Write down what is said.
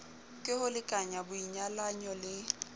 ke ho lekanya boinyalanyo le